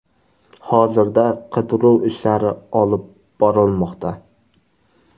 Hozirda qidiruv ishlari olib borilmoqda.